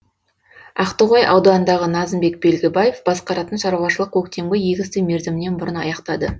ақтоғай ауданындағы назымбек белгібаев басқаратын шаруашылық көктемгі егісті мерзімінен бұрын аяқтады